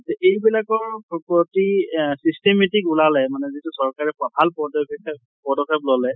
এই বিলাকৰ প্ৰতি systematic ওলালে মানে যিটো চৰকাৰে বিষয়ে পদক্ষেপ লʼলে